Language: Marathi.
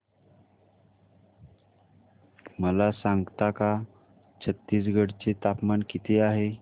मला सांगता का छत्तीसगढ चे तापमान किती आहे